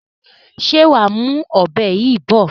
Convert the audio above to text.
Ṣé wàá mú ọ̀bẹ yìí bọ̀?